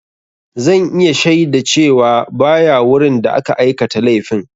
Zan iya shaida cewa ba ya wurin da aka aikata laifin.